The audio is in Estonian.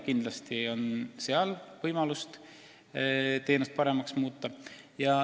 Kindlasti on võimalik teenust paremaks muuta.